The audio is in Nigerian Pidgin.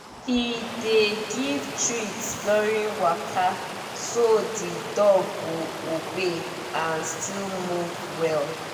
he dey give treats during waka so the dog go obey and still move well